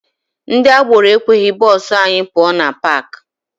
Ndị agboro ekweghị bụsụ anyị pụọ na paakị.